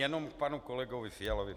Jenom k panu kolegovi Fialovi.